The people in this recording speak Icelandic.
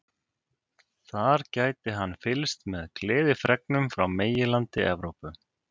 Þar gæti hann fylgst með gleðifregnunum frá meginlandi Evrópu.